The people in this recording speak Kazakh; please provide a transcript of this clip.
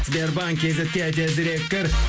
сбербанк кейзетке тезірек кір